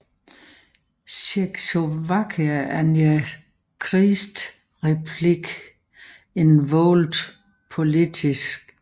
Czechoslovakia and the Czech Republic in World Politics